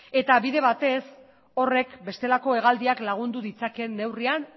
eta bide batez horrek bestelako hegaldiak lagundu ditzakeen neurrian